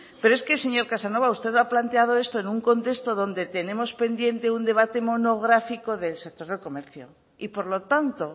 pero es que señor casanova usted ha planteado esto en un contexto donde tenemos pendiente un debate monográfico del sector del comercio y por lo tanto